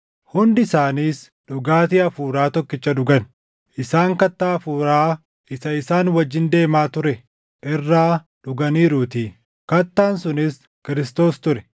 Hundi isaaniis dhugaatii hafuuraa tokkicha dhugan. Isaan kattaa hafuuraa isa isaan wajjin deemaa ture irraa dhuganiiruutii; kattaan sunis Kiristoos ture.